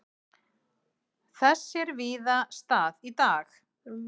Þess sér víða stað í dag.